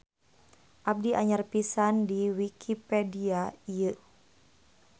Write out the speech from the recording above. Abdi anyar pisan di wikipedia ieu.